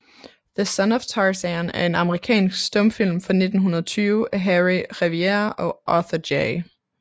The Son of Tarzan er en amerikansk stumfilm fra 1920 af Harry Revier og Arthur J